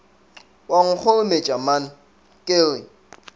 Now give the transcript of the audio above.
wa nkgorometša man ke re